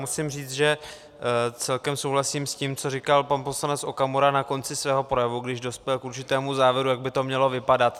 Musím říct, že celkem souhlasím s tím, co říkal pan poslanec Okamura na konci svého projevu, když dospěl k určitému závěru, jak by to mělo vypadat.